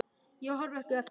Ég horfi ekki eftir þér.